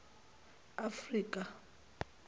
afrika